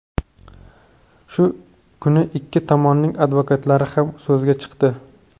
Shu kuni ikki tomonning advokatlari ham so‘zga chiqdi.